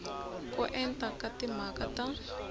ko enta ka timhaka ta